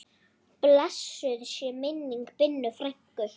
Blessuð sé minning Binnu frænku.